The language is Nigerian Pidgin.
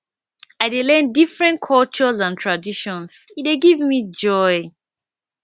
i dey learn different cultures and traditions e dey give me joy